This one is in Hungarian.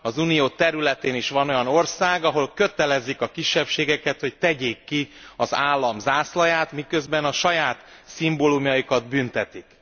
Az Unió területén is van olyan ország, ahol kötelezik a kisebbségeket, hogy tegyék ki az állam zászlaját, miközben a saját szimbólumaikat büntetik.